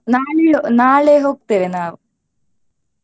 ನಾಳೆ ನಾಳೆ ಹೋಗ್ತೇವೆ ನಾವು.